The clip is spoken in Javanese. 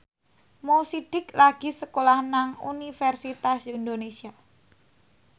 Mo Sidik lagi sekolah nang Universitas Indonesia